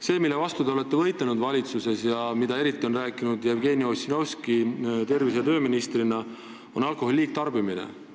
See, mille vastu te valitsuses olete võidelnud ja millest eriti on rääkinud tervise- ja tööminister Jevgeni Ossinovski, on alkoholi liigtarbimine.